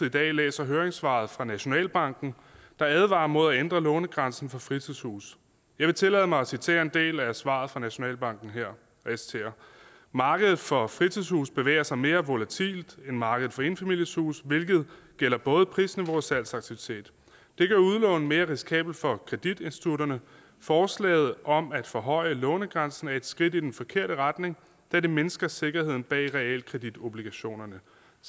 i dag læser høringssvaret fra nationalbanken der advarer mod at ændre lånegrænsen for fritidshuse jeg vil tillade mig at citere en del af svaret fra nationalbanken markedet for fritidshuse bevæger sig mere volatilt end markedet for enfamiliehuse hvilket gælder både prisniveau og salgsaktivitet det gør udlån mere risikabelt for kreditinstitutterne forslaget om at forhøje lånegrænsen er et skridt i den forkerte retning da det mindsker sikkerheden bag realkreditobligationerne